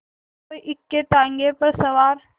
कोई इक्केताँगे पर सवार